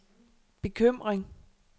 bekymring